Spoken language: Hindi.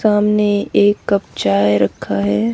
सामने एक कप चाय रखा है।